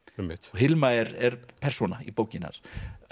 og Hilma er persóna í bókinni hans